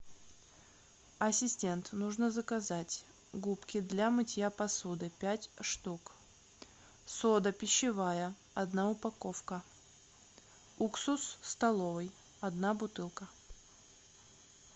ассистент нужно заказать губки для мытья посуды пять штук сода пищевая одна упаковка уксус столовый одна бутылка